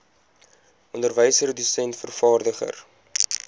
onderwyser dosent vervaardiger